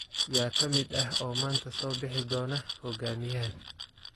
Yaa ka mid ah oo maanta soo bixi doona hoggaamiyahan?